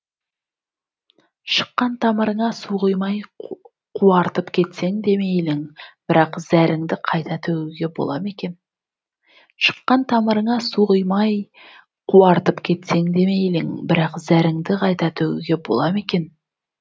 шыққан тамырыңа су құймай қуартып кетсең де мейлің бірақ зәріңді қайта төгуге бола ма екен